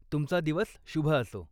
तुमचा दिवस शुभ असो.